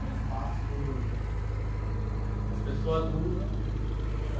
É um espaço que os que as pessoas usam para...